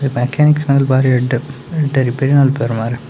Mechanics ನಕುಲು ಬಾರಿ ಎಡ್ಡೆ ಎಡ್ಡೆ ರಿಪೇರಿ ಮಲ್ಪೇರ್‌ ಮಾರ್ರೆ.